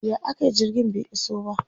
ya akayi jirgin bai iso ba?